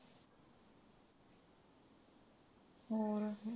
ਹੋਰ